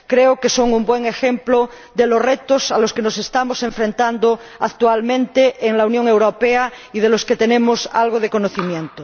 creo que son un buen ejemplo de los retos a los que nos estamos enfrentando actualmente en la Unión Europea y de los que tenemos algo de conocimiento.